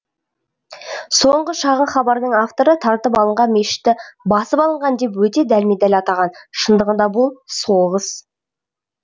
соңғы шағын хабардың авторы тартып алынған мешітті басып алынған деп өте дәлме дәл атаған шындығында бұл соғыс